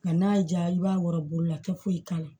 Nka n'a y'i diya i b'a wɔrɔ boli la kɛ foyi k'a la